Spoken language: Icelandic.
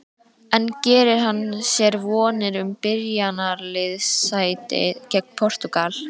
En gerir hann sér vonir um byrjunarliðssæti gegn Portúgal?